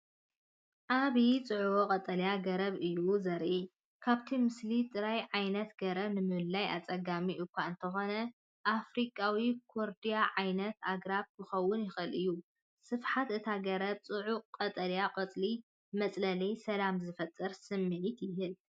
ዓቢ ጽዑቕ ቀጠልያ ገረብ እዩ ዘርኢ። ካብቲ ምስሊ ጥራይ ዓይነት ገረብ ንምልላይ ኣጸጋሚ እኳ እንተኾነ፡ ኣፍሪቃዊ ኮርድያ ዓይነት ኣግራብ ክኸውን ይኽእል እዩ። ስፍሓት እታ ገረብን ጽዑቕ ቀጠልያ ቆጽልን መጽለልን ሰላምን ዝፈጥር ስምዒት ይህብ።